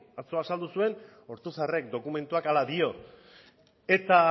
atzo azaldu zuen ortuzarrek dokumentua hala dio eta